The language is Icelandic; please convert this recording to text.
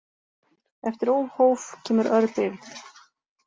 Eftir óhóf kemur örbirgð.